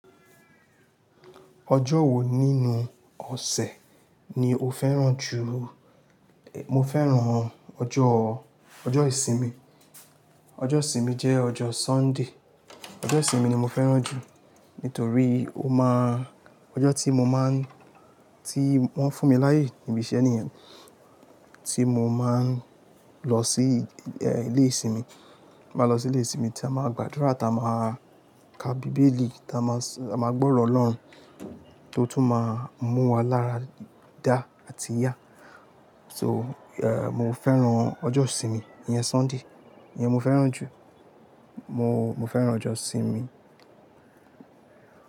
Ọjọ́ wo nínú ọ̀sẹ̀ ni o fẹ́ràn jù? Mo fẹ́ràn ọjọ́, ọjọ́ ìsinmi. Ọjọ́ ìsinmi jẹ́ ọjọ́ Sunday. Ọjọ́ ìsinmi ni mo fẹ́ràn jù. Nítorí ó máa, ọjọ́ tí mo máa ń, tí wọ́n fún mi láyé níbí iṣe nìyẹn tí mo máa ń lọ sí ẹ́, ilé ìsinmi. Mo máa lọ sí ilé ìsinmi tí a máa gbàdúrà, tí a máa ka bíbélì, tí a máa sọ, a máa gbọ́rọ̀ Ọlọ́run tó tún máa mú wa lára dá àti yá. So, ẹ́, mo fẹ́ràn ọjọ́ ìsinmi, ìyẹn Sunday, ìyẹn mo fẹ́ràn jù. Mo, mo fẹ́ràn ọjọ́ ìsinmi.